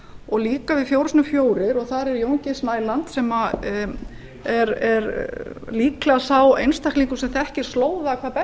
og líka í fjórum sinnum fjórir og þar er jón g snæland sem er líklega sá einstaklingur sem þekkir slóða hvað best